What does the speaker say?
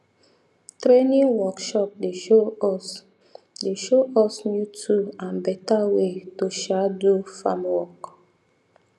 training workshop dey show us dey show us new tool and better way to um do farm work